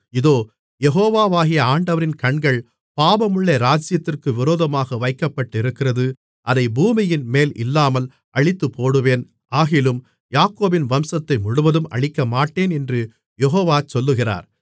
இதோ யெகோவாகிய ஆண்டவரின் கண்கள் பாவமுள்ள ராஜ்ஜியத்திற்கு விரோதமாக வைக்கப்பட்டிருக்கிறது அதை பூமியின்மேல் இல்லாமல் அழித்துப்போடுவேன் ஆகிலும் யாக்கோபின் வம்சத்தை முழுவதும் அழிக்கமாட்டேன் என்று யெகோவா சொல்லுகிறார்